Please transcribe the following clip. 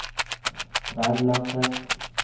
Tverlandet